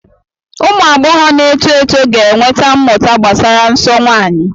Ụmụ agbọghọ na-eto eto ga-enweta mmụta gbasara nsọ nwanyị.